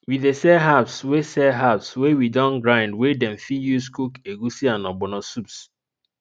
we dey sell herbs wey sell herbs wey we don grind wey dem fit use cook egusi and ogbono soups